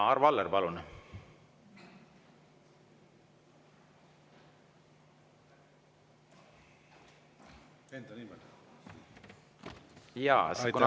Arvo Aller, palun!